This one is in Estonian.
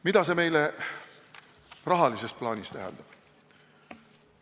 Mida see meile rahalises plaanis tähendab?